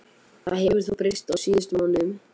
Það hefur þó breyst á síðustu mánuðum.